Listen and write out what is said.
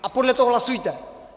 A podle toho hlasujte.